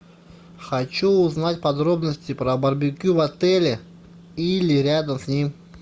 хочу узнать подробности про барбекю в отеле или рядом с ним